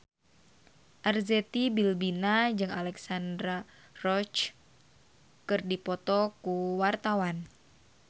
Arzetti Bilbina jeung Alexandra Roach keur dipoto ku wartawan